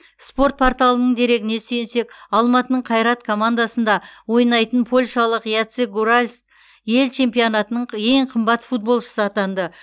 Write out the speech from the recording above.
спорт порталының дерегіне сүйенсек алматының қайрат командасында ойнайтын польшалық яцек гуральск ел чемпионатының ең қымбат футболшысы атанды